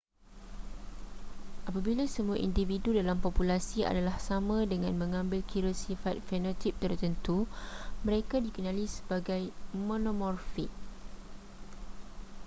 apabila semua individu dalam populasi adalah sama dengan mengambil kira sifat fenotip tertentu mereka dikenali sebagai monomorfik